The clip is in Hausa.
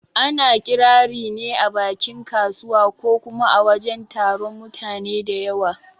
Ana Ƙirari ne a bakin kasuwa ko kuma a wajen taron mutane da yawa